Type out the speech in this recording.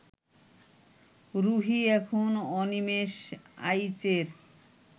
রুহী এখন অনিমেষ আইচের